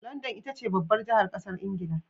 London itace babbar jahar ƙasar ingila